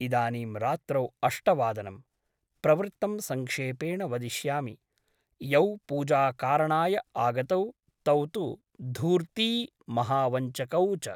इदानीं रात्रौ अष्टवादनम् । प्रवृत्तं सङ्क्षेपेण वदिष्यामि । यौ पूजाकारणाय आगतौ तौतु धूर्ती महावञ्चकौ च ।